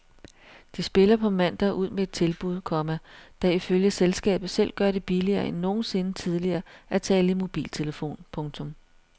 De spiller på mandag ud med et tilbud, komma der ifølge selskabet selv gør det billigere end nogensinde tidligere at tale i mobiltelefon. punktum